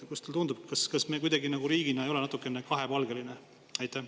Kuidas teile tundub, kas me riigina ei ole natukene kahepalgelised?